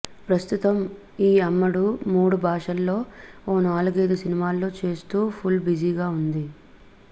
ప్రస్తుతం ఈ అమ్మడు మూడు భాషల్లో ఓ నాలుగైదు సినిమాల్లో చేస్తూ ఫుల్ బిజీగా ఉన్నది